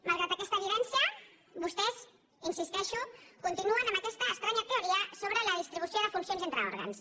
malgrat aquesta evidència vostès hi insisteixo continuen amb aquesta estranya teoria sobre la distribució de funcions entre òrgans